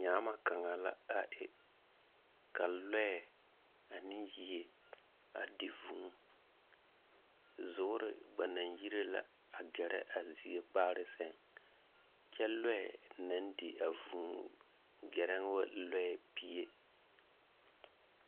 Nyaama kaŋa la a e ka lɔɛ ane yie a di vũũ. Zoore gba naŋ yire la agɛrɛ a zie kpaare seŋ, kyɛ lɔɛ naŋ di a vũũ gɛrɛ wo lɔɛ pie.